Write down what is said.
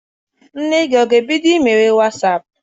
Nne gị ọ ga-ebido mewe Wasaapụ?